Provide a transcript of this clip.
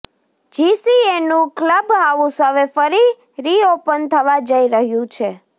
જીસીએનું club house હવે ફરી reopen થવા જઇ રહ્યું છે